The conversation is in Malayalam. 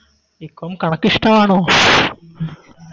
ബീകോം കണക്കിഷ്ട്ടമാണോ